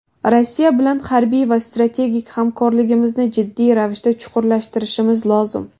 Rossiya bilan harbiy va strategik hamkorligimizni jiddiy ravishda chuqurlashtirishimiz lozim.